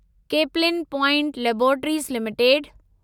Caplin point laboratories limited